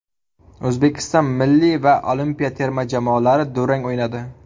O‘zbekiston milliy va olimpiya terma jamoalari durang o‘ynadi.